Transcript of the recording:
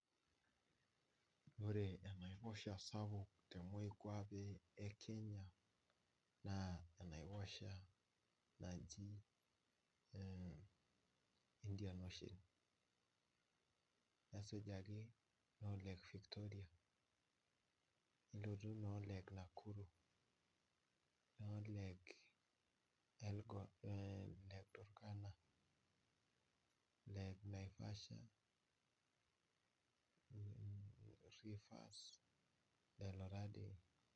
Ore enaiposhaa sapuk te moikuape e kenya , naa enaiposha naji ee Indian ocean . Esujita lake Victoria, nilotu lake Nakuru, lake turkana, lake naivasha